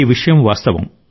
ఈ విషయం వాస్తవం